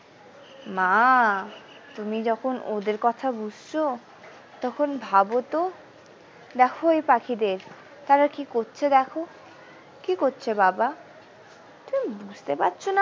মা তুমি যখন ওদের কথা বুঝছো তখন ভাবতো দেখো ওই পাখিদের তারা কি করছে দেখো কি করছে বাবা তুমি বুঝতে পারছোনা।